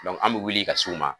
an bɛ wuli ka s'u ma